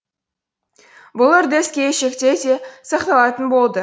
бұл үрдіс келешектеде де сақталатын болды